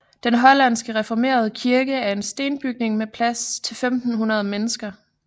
Den hollandske reformerede kirke er en stenbygning med plads til 1500 mennesker